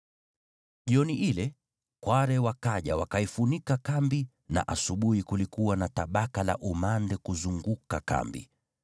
Jioni ile kware wakaja wakaifunika kambi na asubuhi kulikuwa na tabaka la umande kuzunguka kambi.